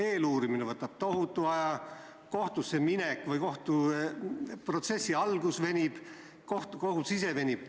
Eeluurimine võtab tohutu aja, kohtusse minek, kohtuprotsessi algus venib, kohus ise venib.